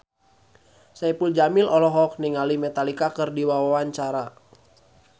Saipul Jamil olohok ningali Metallica keur diwawancara